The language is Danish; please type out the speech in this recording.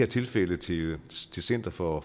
tilfælde til center for